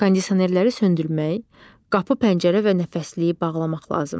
Kondisionerləri söndürmək, qapı, pəncərə və nəfəsliyi bağlamaq lazımdır.